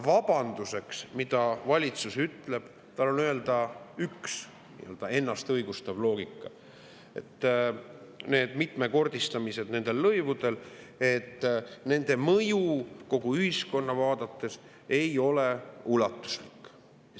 Vabandus, mida valitsus ütleb – tal on öelda üks nii-öelda ennast õigustav loogika –, on see, et nende lõivude mitmekordistamise mõju kogu ühiskonna vaates ei ole ulatuslik.